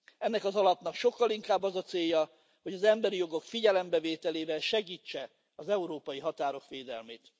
Ennek az alapnak sokkal inkább az a célja, hogy az emberi jogok figyelembevételével segítse az európai határok védelmét.